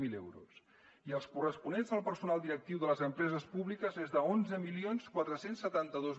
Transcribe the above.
zero euros i els corresponents al personal directiu de les empreses públiques és d’onze mil quatre cents i setanta dos